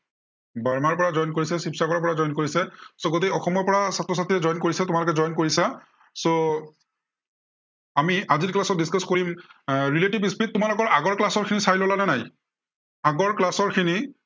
বৰমাৰ পৰা join কৰিছে, শিৱসাগৰৰ পৰা join কৰিছে, so গাটেই অসমৰ পৰা ছাত্ৰ-ছাত্ৰীয়ে join কৰিছে। তোমালোকে join কৰিছা। so আমি আজিৰ class ত discuss কৰিম এৰ relative speed তোমালোকে আগৰ class ৰ খিনি চাই ললা নে নাই। আগৰ class ৰ খিনি।